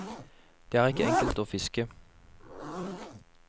Det er ikke enkelt å fiske.